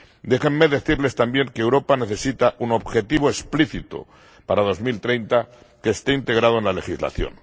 Déjenme decirles también que Europa necesita un objetivo explícito para 2030 que esté integrado en la legislación.